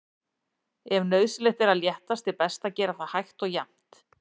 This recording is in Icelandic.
Ef nauðsynlegt er að léttast er best að gera það hægt og jafnt.